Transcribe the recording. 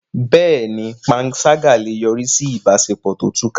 Bẹ́ẹ̀ni, panṣágà lè yọrí sí ìbáṣepọ̀ tó túká.